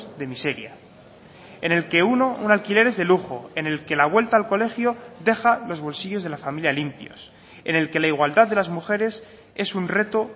de miseria en el que uno un alquiler es de lujo en el que la vuelta al colegio deja los bolsillos de la familia limpios en el que la igualdad de las mujeres es un reto